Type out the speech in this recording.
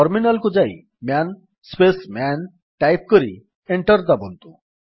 terminal କୁ ଯାଇ man space man type କରି ଏଣ୍ଟର୍ ଦାବନ୍ତୁ